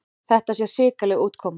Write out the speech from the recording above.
Þetta sé hrikaleg útkoma.